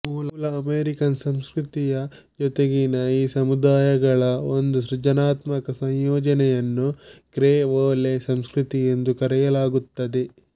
ಮೂಲ ಅಮೆರಿಕನ್ ಸಂಸ್ಕೃತಿಯ ಜೊತೆಗಿನ ಈ ಸಮುದಾಯಗಳ ಒಂದು ಸೃಜನಾತ್ಮಕ ಸಂಯೋಜನೆಯನ್ನು ಕ್ರೆಒಲೇ ಸಂಸ್ಕೃತಿ ಎಂದು ಕರೆಯಲಾಗುತ್ತದೆ